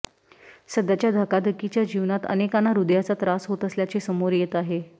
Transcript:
सध्याच्या धकाधकीच्या जीवनात अनेकांना हृदयाचा त्रास होत असल्याचे समोर येत आहे